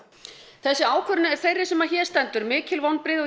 þessi ákvörðun er þeirri sem hér stendur mikil vonbrigði og